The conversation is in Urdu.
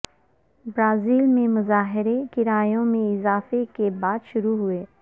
برازیل میں مظاہرے کرایوں میں اضافے کے بعد شروع ہوئے